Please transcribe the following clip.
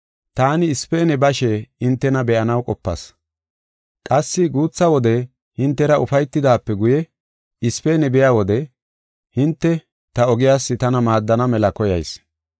taani Ispeene bashe hintena be7anaw qopas. Qassi guutha wode hintera ufaytidaape guye, Ispeene biya wode hinte ta ogiyas tana maaddana mela koyayis.